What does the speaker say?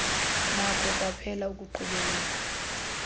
nakho kwaphela ukuqhubeleka